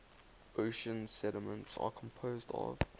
ocean sediments are composed of